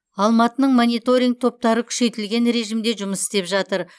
алматының мониторинг топтары күшейтілген режмде жұмыс істеп жатыр